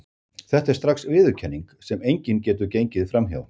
Þetta er strax viðurkenning, sem enginn getur gengið fram hjá.